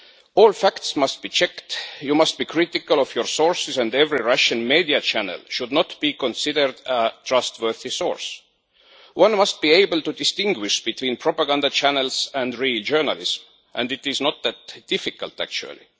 All facts must be checked. You must be critical of your sources and no Russian media channel should be considered a trustworthy source. One must be able to distinguish between propaganda channels and real journalists, and it is not that difficult actually.